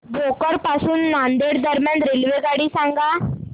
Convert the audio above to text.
भोकर पासून नांदेड दरम्यान रेल्वेगाडी सांगा